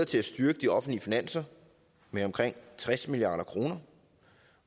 til at styrke de offentlige finanser med omkring tres milliard kr